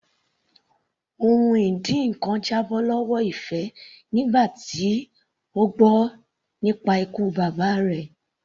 Ohun ìdínkan já bọ́ lọ́wọ́ Ife nígbà tó gbọ́ nípa ikú bàbá rẹ̀.